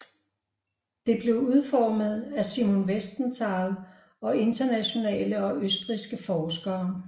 Det blev udformet af Simon Wiesenthal og internationale og østrigske forskere